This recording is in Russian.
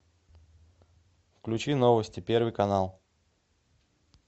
включи новости первый канал